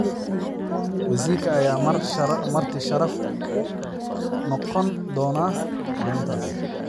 Wasiirka ayaa marti sharaf u noqon doona maalintaas.